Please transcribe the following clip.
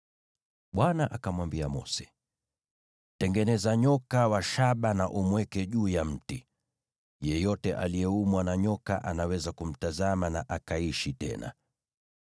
Bwana akamwambia Mose, “Tengeneza nyoka wa shaba na umweke juu ya mti; yeyote aliyeumwa na nyoka anaweza kumtazama na akaishi tena.”